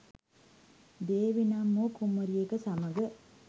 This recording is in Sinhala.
දේවී නම් වූ කුමරියක සමග